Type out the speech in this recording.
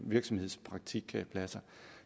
virksomhedspraktikpladser